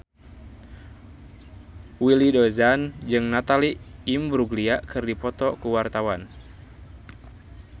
Willy Dozan jeung Natalie Imbruglia keur dipoto ku wartawan